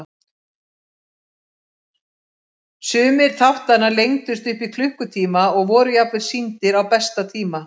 Sumir þáttanna lengdust upp í klukkutíma og voru jafnvel sýndir á besta tíma.